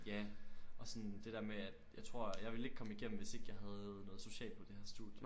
Ja og sådan det der med at jeg tror jeg ville ikke komme igennem hvis jeg ikke havde noget socialt på det her studie